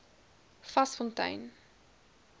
vasfontein